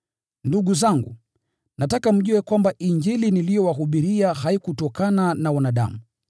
Ndugu zangu, nataka mjue kwamba Injili niliyowahubiria haikutokana na wanadamu.